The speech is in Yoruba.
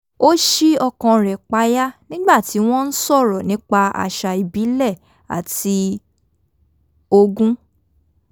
ó sí okàn rẹ̀ payá nígbà tí wọ́n ń sọ̀rọ̀ nípa àṣà ìbílẹ̀ àti ogún